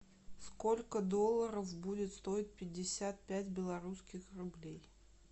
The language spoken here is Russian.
сколько долларов будет стоить пятьдесят пять белорусских рублей